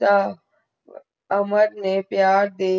ਤਾ ਅਮਨ ਨੇ ਪਿਆਰ ਸੇ